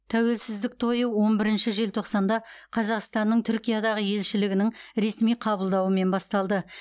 тәуелсіздік тойы он бірінші желтоқсанда қазақстанның түркиядағы елшілігінің ресми қабылдауымен басталды